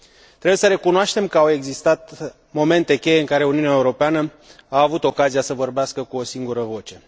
Trebuie să recunoaștem că au existat momente cheie în care Uniunea Europeană a avut ocazia să vorbească cu o singură voce.